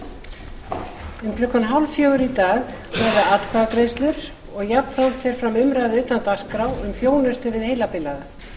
klukkan fimmtán þrjátíu í dag verða atkvæðagreiðslur og jafnframt fer fram umræða utan dagskrá um þjónustu við heilabilaða